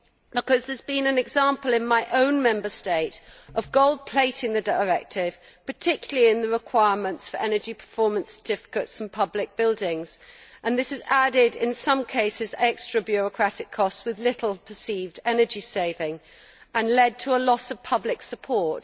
because there has been an example in my own Member State of gold plating the directive, particularly in the requirements for energy performance certificates in public buildings, and this has added, in some cases, extra bureaucratic costs with little perceived energy saving and led to a loss of public support